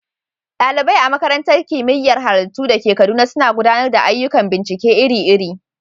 ɗalibai a Makarantar Kimiyyar Halittu da ke Kaduna suna gudanar da ayyukan bincike iri-iri.